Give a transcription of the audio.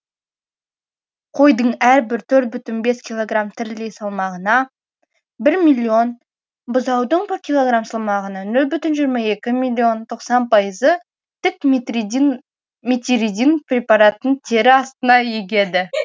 қойдың әрбір төрт бүтін бес килограм тірілей салмағына бір миллион бұзаудың бір килограм салмағына нөл бүтін жиырма екі миллион тоқсан пайызы метиридин препаратын тері астына егеді